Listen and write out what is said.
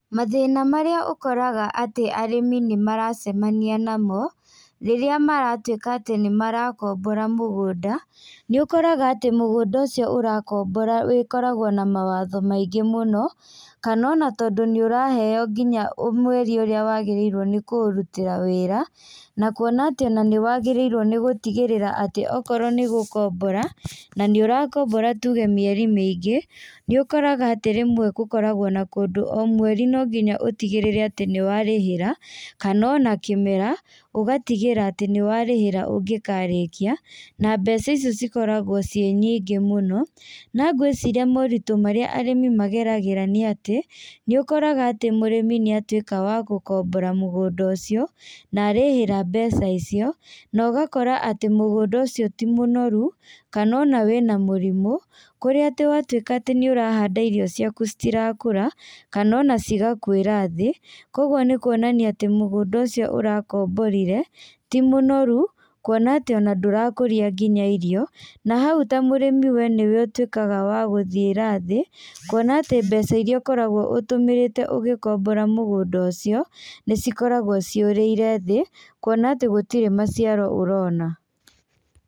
Mathina marĩa ũkoraga atĩ arĩmi nĩ maracemania namo rĩrĩa maratuĩka atĩ nĩ marakombora mũgũnda nĩ ũkoraga atĩ mũgũnda ũcio ũrakombora ũkoragwo na mawatho maingĩ mũno kana ona tondũ nĩũraheo mweri ũrĩa wagĩrĩirwo kũũrutĩra wĩra na kũona atĩ nĩwagĩrĩirwo nĩgũtigĩrĩra atĩ okorwo nĩ gũkombora na nĩ ũrakombora tũge mĩeri mĩingĩ nĩũkoraga atĩ rimwe gũkoragwo o mweri no nginya ũtigĩrĩre ati nĩwarĩhĩra kana o na kĩmera ũgatigĩra atĩ nĩwarĩhĩra ũngĩkarĩkia na mbeca icio cikoragwo ci nyingĩ mũno. Na ngwĩciria moritũ marĩa arĩmi mageragĩra nĩ atĩ nĩũkoraga atĩ mũrĩmi nĩatwĩka wagũkombora mũgunda ũcio na arĩhĩra mbeca icio na ũgakora atĩ mũgũnda ũcio ti mũnorũ kana ona wĩ na mũrimũ kũrĩa atĩ watwĩka atĩ nĩũrahanda irio ciaku atĩ itirakũra kana cigakuĩra thĩ kogũo nĩkũonania atĩ mugũnda ũcio ũrakomborire ti mũnorũ, kũona atĩ ona ndũrakũria nginya irio na hau ta mũrĩmi we niwe ũtwĩkaga wa gũthiĩra thĩ, kũona atĩ mbeca iria ũkoragwo ũtũmĩrĩte ũgĩkombora mũgũnda ũcio nĩ cikoragwo cĩ ũrĩire thĩ kũona atĩ gũtirĩ maciaro ũrona.